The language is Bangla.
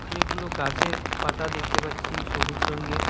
অনেকগুলো গাছের পাতা দেখতে পাচ্ছি সবুজ রঙ্গের।